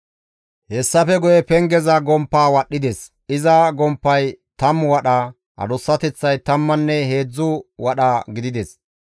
Hessafe guye pengeza gomppaa wadhdhides; iza gomppay tammu wadha, adussateththay tammanne heedzdzu wadha gidides.